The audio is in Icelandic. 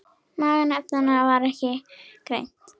Magn efnanna var ekki greint.